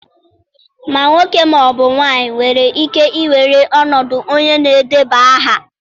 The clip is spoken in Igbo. Ma nwoke ma ọ bụ nwanyị nwere ike iwere ọnọdụ onye na-edeba aha.